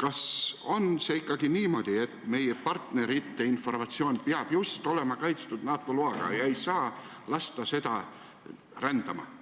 Kas on see ikkagi niimoodi, et meie partnerite informatsioon peab olema kaitstud NATO loaga, seda ei saa lasta rändama minna